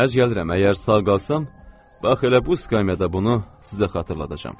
Mənərs gəlirəm, əgər sağ qalsam, bax elə bu skamyada bunu sizə xatırladacam.